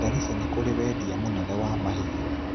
Garissa nĩ kũũrĩ wendia mũnene wa mahiũ.